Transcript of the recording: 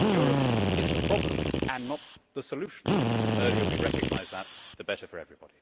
Europe is the problem and not the solution. The earlier we recognise that, the better for everybody.